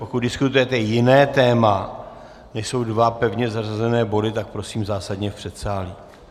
Pokud diskutujete jiné téma, než jsou dva pevně zařazené body, tak prosím zásadně v předsálí.